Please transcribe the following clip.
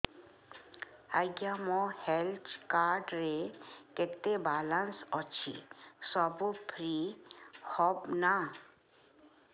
ଆଜ୍ଞା ମୋ health card ରେ କେତେ ବାଲାନ୍ସ ଅଛି ସବୁ ଫ୍ରି ହବ ନାଁ